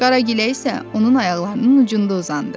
Qara Gilə isə onun ayaqlarının ucunda uzandı.